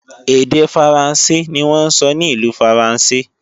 Èdè Faransé ni wọ́n ń sọ ní ìlú Faransé